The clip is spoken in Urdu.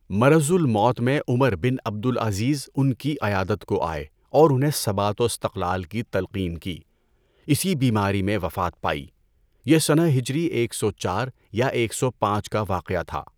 مَرَضُ الموت میں عمر بن عبد العزیز ان کی عیادت کو آئے اور انہیں ثبات و استقلال کی تلقین کی، اسی بیماری میں وفات پائی۔ یہ سنہ ہجری ایک سو چار یا ایک سو پانچ کا واقعہ تھا۔